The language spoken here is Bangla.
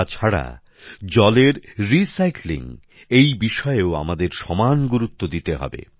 তাছাড়া জলের পুনর্ব্যবহারের বিষয়েও আমাদের সমান গুরুত্ব দিতে হবে